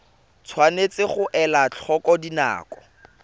tshwanetse ga elwa tlhoko dinako